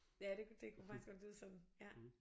Ja det det kunne faktisk godt lyde sådan ja